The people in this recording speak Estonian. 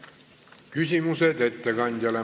Küsimused ettekandjale.